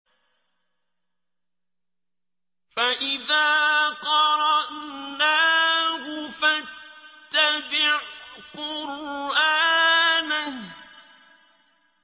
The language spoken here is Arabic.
فَإِذَا قَرَأْنَاهُ فَاتَّبِعْ قُرْآنَهُ